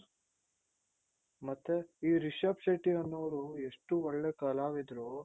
ಮತ್ತೆ ಏ ರಿಷಬ್ ಶೆಟ್ಟಿ ಅನ್ನೋವ್ರು ಎಷ್ಟು ಒಳ್ಳೆ ಕಲಾವಿದರು